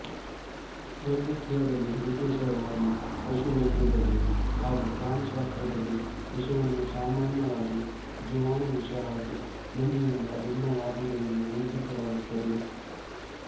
ವೈದ್ಯಕೀಯದಲ್ಲಿ ವಿಶೇಷವಾಗಿ ಪಶು ವೈದ್ಯದಲ್ಲಿ ಹಾಗು ಪ್ರಾಣಿಶಾಸ್ತ್ರದಲ್ಲಿ ವಿಷವನ್ನು ಸಾಮಾನ್ಯವಾಗಿ ಜೀವಾಣುವಿಷ ಹಾಗು ನಂಜಿನಿಂದ ಭಿನ್ನವಾದುದೆಂದು ಗುರುತಿಸಲಾಗುತ್ತದೆ